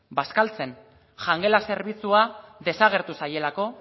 bazkaltzen jangela zerbitzua desagertu zaielako